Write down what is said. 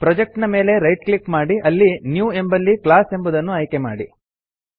project ನ ಮೇಲೆ right click ಮಾಡಿ ಅಲ್ಲಿ ನ್ಯೂ ಎಂಬಲ್ಲಿ ಕ್ಲಾಸ್ ಎಂಬುದನ್ನು ಆಯ್ಕೆಮಾಡಿ